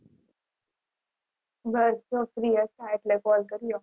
બસ જો free હતાં એટલે call કર્યો